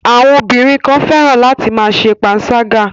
Àwọn ọbìnrin kan fẹ́ràn láti ma ṣe panṣágà.